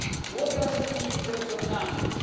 What does it mean in terms of numbers?